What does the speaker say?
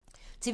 TV 2